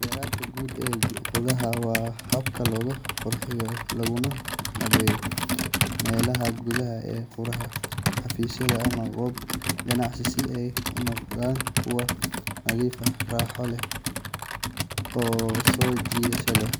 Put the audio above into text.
Beredka guud ee gudaha waa habka lagu qurxiyo laguna habeeyo meelaha gudaha ee guri, xafiis, ama goob ganacsi si ay u noqdaan kuwo nadiif ah, raaxo leh oo soo jiidasho leh.